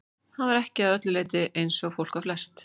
Hann var ekki að öllu leyti eins og fólk var flest.